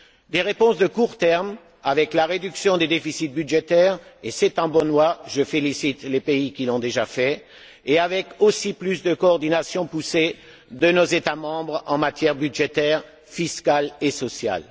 Des réponses de court terme avec la réduction des déficits budgétaires, et c'est en bonne voie je félicite les pays qui l'ont déjà fait et aussi avec une coordination plus poussée de nos États membres en matière budgétaire, fiscale et sociale.